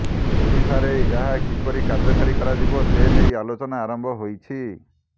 ଓଡ଼ିଶାରେ ଏହା କିପରି କାର୍ଯ୍ୟକାରୀ କରାଯିବ ସେ ନେଇ ଆଲୋଚନା ଆରମ୍ଭ ହୋଇଛି